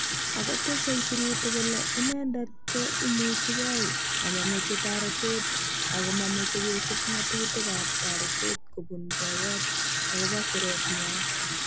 Akotese sirutik kole inendet ko imuchi kei amameche taretet ako mameche kesup ngatutik ap taretet kopun poyot akopo siret nywaa.